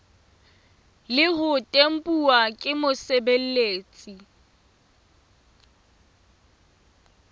le ho tempuwa ke mosebeletsi